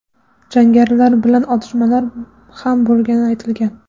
Jangarilar bilan otishmalar ham bo‘lgani aytilgan.